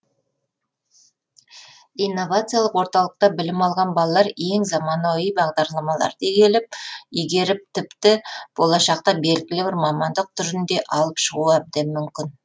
инновациялық орталықта білім алған балалар ең заманауи бағдарламаларды игеріп тіпті болашақта белгілі бір мамандық түрін де алып шығуы әбден мүмкін